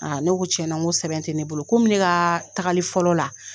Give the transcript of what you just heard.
ne ko tiɲɛna n ko sɛbɛn tɛ ne bolo. Komi ne ka tagali fɔlɔ la,